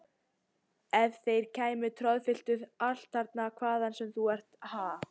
Ef þeir kæmu og troðfylltu allt þarna hvaðan sem þú nú ert, ha!